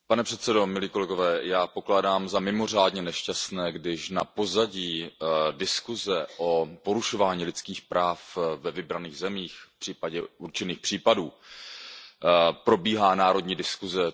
Pane předsedající, já pokládám za mimořádně nešťastné, když na pozadí diskuze o porušování lidských práv ve vybraných zemích, případně o určitých případech, probíhá národní diskuze.